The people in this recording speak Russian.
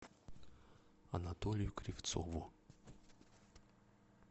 анатолию кривцову